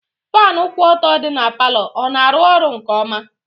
Fanu kwụ ọtọ dị n'palo, ọ na arụ ọrụ nke ọma?